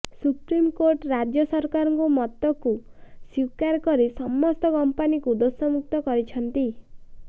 supreme court ରାଜ୍ୟ ସରକାରଙ୍କ ମତକୁ ସ୍ବୀକାର କରି ସମସ୍ତ କମ୍ପାନୀଙ୍କୁ ଦୋଷ ମୁକ୍ତ କରିଛନ୍ତି